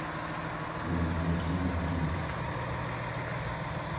Kuom ogendni modhuro.